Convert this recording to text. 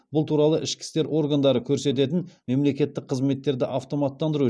бұл туралы ішкі істер органдары көрсететін мемлекеттік қызметтерді автоматтандыру